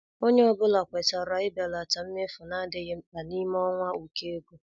Ònye ọ́bụ̀la kwètàrà ibèlata mmefu na-adịghị mkpa n'ime ọnwa ụkọ ego.